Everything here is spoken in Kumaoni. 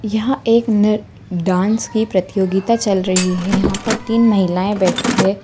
यहाँ एक नृ-डांस की प्रतियोगिता चल रही है यहाँ पर तीन महिलाएँ बैठी हैं।